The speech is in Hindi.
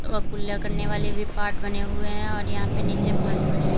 वो कुल्ला करने वाले भी पॉट बने हुए हैं और यहां पे नीचे फर्श पड़ी हुई--